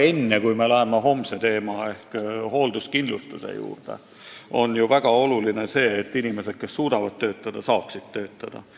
Meie homne arutlusteema on hoolduskindlustus, aga sama oluline on teha kõik, et inimesed, kes suudavad töötada, saaksid töötada.